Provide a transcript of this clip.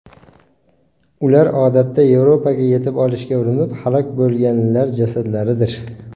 Ular odatda Yevropaga yetib olishga urinib halok bo‘lganlar jasadlaridir.